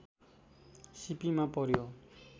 शिपिमा पर्‍यो